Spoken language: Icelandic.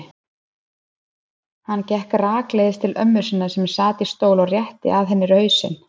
Hann gekk rakleiðis til ömmu sinnar sem sat í stól og rétti að henni hausinn.